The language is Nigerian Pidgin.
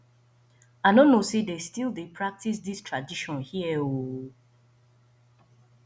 i no know say dey still dey practice dis tradition here oo